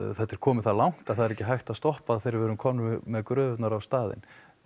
þetta er komið það langt það er ekki hægt að stoppa þegar við erum komin með gröfurnar á staðinn